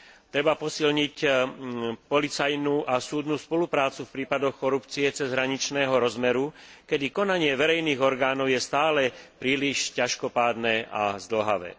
Treba posilniť policajnú a súdnu spoluprácu v prípadoch korupcie cezhraničného rozmeru, kedy konanie verejných orgánov je stále príliš ťažkopádne a zdĺhavé.